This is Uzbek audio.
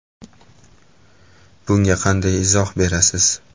Bunga qanday izoh berasiz?